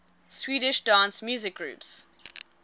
swedish dance music groups